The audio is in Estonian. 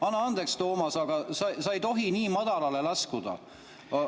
Anna andeks, Toomas, aga sa ei tohi nii madalale laskuda.